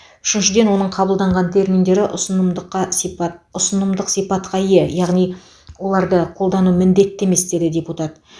үшіншіден оның қабылдаған терминдері ұсынымдыққа сипат ұсынымдық сипатқа ие яғни оларды қолдану міндетті емес деді депутат